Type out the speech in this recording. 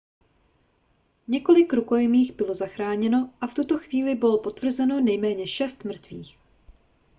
několik rukojmích bylo zachráněno a v tuto chvíli bylo potvrzeno nejméně šest mrtvých